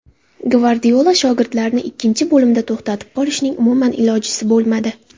Gvardiola shogirdlarini ikkinchi bo‘limda to‘xtatib qolishning umuman ilojisi bo‘lmadi.